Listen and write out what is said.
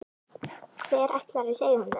Hver ætlar að segja honum þetta?